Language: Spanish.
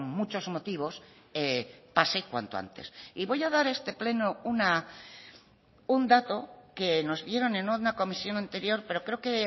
muchos motivos pase cuanto antes y voy a dar este pleno un dato que nos dieron en una comisión anterior pero creo que